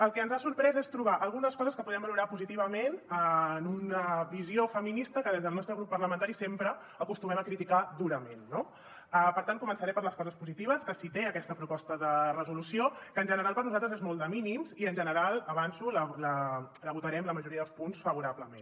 el que ens ha sorprès és trobar hi algunes coses que podríem valorar positivament en una visió feminista que des del nostre grup parlamentari sempre acostumem a criticar durament no per tant començaré per les coses positives que sí que té aquesta proposta de resolució que en general per nosaltres és molt de mínims i en general ho avanço votarem la majoria dels punts favorablement